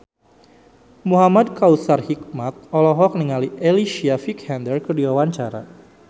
Muhamad Kautsar Hikmat olohok ningali Alicia Vikander keur diwawancara